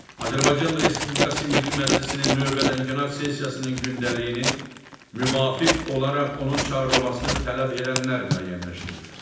Azərbaycan Respublikası Milli Məclisinin növbədənkənar sessiyasının gündəliyini müvafiq olaraq onun çağırılmasını tələb edənlər müəyyənləşdirir.